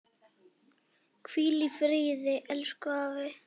Hvíl í friði elsku afi.